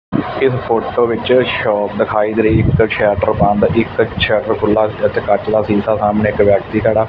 ਇਸ ਫ਼ੋਟੋ ਵਿੱਚ ਸ਼ੌਪ ਦਿਖਾਈ ਦੇ ਰਹੀ ਇੱਕ ਸ਼ਟਰ ਬੰਦ ਇੱਕ ਛਟਰ ਖੁੱਲ੍ਹਾ ਅਤੇ ਕੰਚ ਦਾ ਸ਼ੀਸ਼ਾ ਸਾਹਮਣੇ ਇੱਕ ਵਿਅਕਤੀ ਖੜਾ।